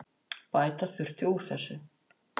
Bæta þurfi úr þessu.